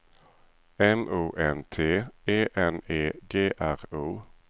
M O N T E N E G R O